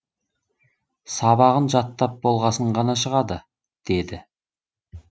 сабағын жаттап болғасын ғана шығады деді